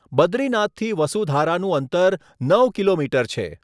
બદ્રીનાથથી વસુધારાનું અંતર નવ કિલોમીટર છે.